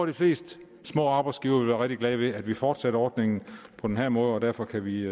de fleste små arbejdsgivere vil være rigtig glade ved at vi fortsætter ordningen på den her måde derfor kan vi